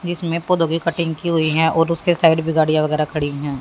जिसमें पौधों की कटिंग की हुई है और उसके साइड भी गाड़ियां वगैरह खड़ी हैं।